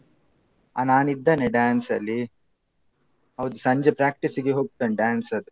ಆ ನಾನಿದ್ದೇನೆ dance ಅಲ್ಲಿ. ಹೌದು ಸಂಜೆ practice ಗೆ ಹೋಗ್ತೇನೆ dance ಸದ್ದು.